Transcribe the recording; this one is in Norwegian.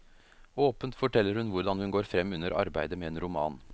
Åpent forteller hun hvordan hun går frem under arbeidet med en roman.